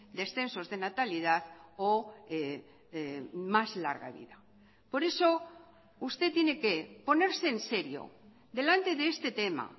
descensos de natalidad o más larga vida por eso usted tiene que ponerse en serio delante de este tema